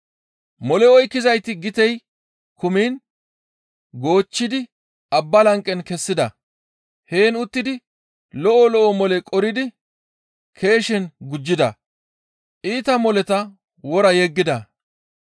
Mole oykkizayti gitey kumiin goochchidi abba lanqe kessida. Heen uttidi lo7o lo7o mole qoridi keeshen gujjida. Iita moleta wora yeggida.